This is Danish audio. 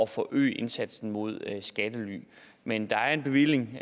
forøge indsatsen mod skattely men der er en bevilling